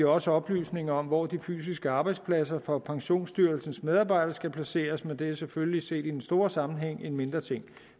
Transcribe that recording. også oplysninger om hvor de fysiske arbejdspladser for pensionsstyrelsens medarbejdere skal placeres men det er selvfølgelig set i den store sammenhæng en mindre ting